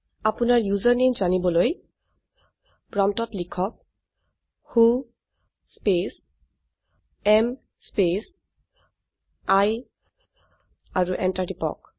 আপোনাৰ ইউচাৰনামে জানিবলৈ প্ৰম্পটত লিখক who space am space I আৰু এন্টাৰ টিপক